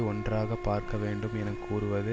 ஒன்றாக பார்க்க வேண்டும் என கூறுவது